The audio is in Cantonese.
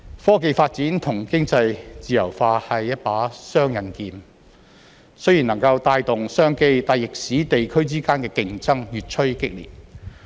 科技發展與經濟自由化是一把雙刃劍，雖然能夠帶動商機，但亦使地區之間的競爭越趨激烈。